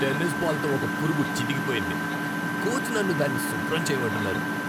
Tennis బాల్తో ఒక పురుగు చితికిపోయింది, కోచ్ నన్ను దాన్ని శుభ్రం చేయమంటున్నారు.